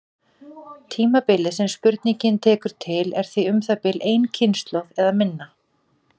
Tímabilið sem spurningin tekur til er því um það bil ein kynslóð eða minna.